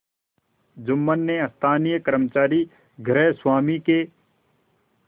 जुम्मन ने स्थानीय कर्मचारीगृहस्वामीके